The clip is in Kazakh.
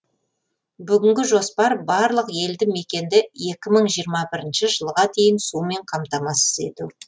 бүгінгі жоспар барлық елді мекенді екі мың жиырма бірінші жылға дейін сумен қамтамасыз ету